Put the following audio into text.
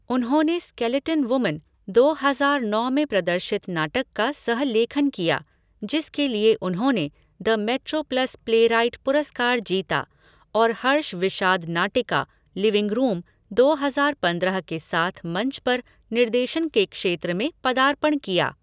उन्होंने skeleton woman, दो हजार नौ में प्रदर्शित नाटक का सह लेखन किया, जिसके लिए उन्होंने द मेट्रोप्लस प्लेराइट पुरस्कार जीता, और हर्ष विषाद नाटिका, लिविंग रूम, दो हजार पंद्रह के साथ मंच पर निर्देशन के क्षेत्र में पदार्पण किया।